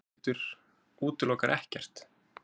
Höskuldur: Útilokar ekkert?